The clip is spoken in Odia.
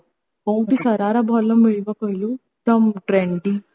କୋଉଠି ଭଲ ଶରାରା ମିଳିବ କହିଲୁ ତ trendy